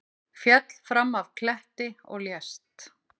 Féll fram af kletti og lést